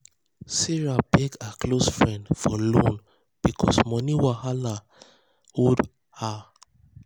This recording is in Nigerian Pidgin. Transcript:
sarah beg her close friends for loan because money wahala because money wahala hold her.